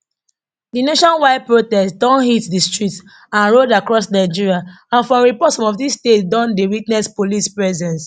di nationwide protest don hit di streets and roads across nigeria and from reports some of di states don dey witness police presence